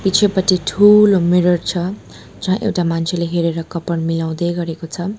पिछेपटि ठूलो मिरर छ जहाँ एउटा मान्छेले हेरेर कपाल मिलाउँदै गरेको छ।